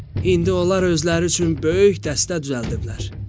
İndi onlar özləri üçün böyük dəstə düzəldiblər.